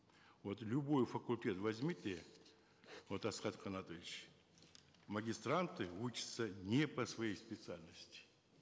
вот любой факультет возьмите вот асхат канатович магистранты учатся не по своей специальности